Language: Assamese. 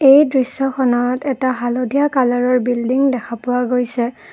এই দৃশ্যখনত এটা হালধীয়া কালাৰৰ বিল্ডিং দেখা পোৱা গৈছে।